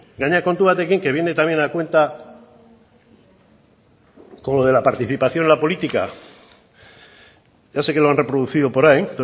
gainera kontu batekin que viene también a cuenta con lo de la participación en la política ya sé que lo han reproducido por ahí